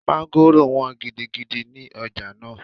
Mọ́ngòrò wọ́n gidigidi ní ọjà náà